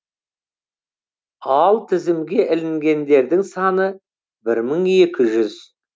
ал тізімге ілінгендердің саны бір мың екі жүз